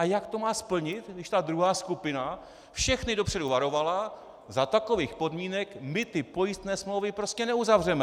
A jak to má splnit, když ta druhá skupina všechny dopředu varovala "za takových podmínek my ty pojistné smlouvy prostě neuzavřeme"?